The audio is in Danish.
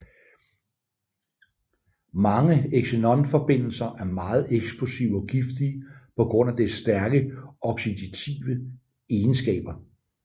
Mange xenon forbindelser er meget eksplosive og giftige på grund af dets stærke oxidative egenskaber